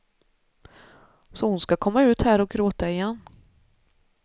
Så hon ska komma ut här och gråta igen.